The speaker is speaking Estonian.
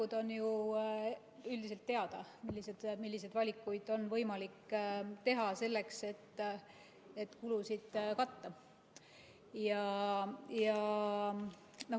See on ju üldiselt teada, milliseid valikuid on võimalik teha selleks, et kulusid katta.